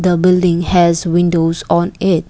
building has windows on it.